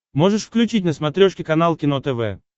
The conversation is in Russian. можешь включить на смотрешке канал кино тв